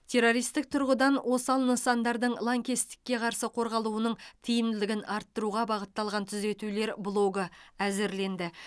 террористік тұрғыдан осал нысандардың лаңкестікке қарсы қорғалуының тиімділігін арттыруға бағытталған түзетулер блогы әзірленді